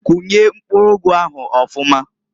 Kunye mpkuru ụgụ ahụ ọfụmaǃ